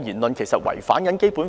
他有否違反《基本法》？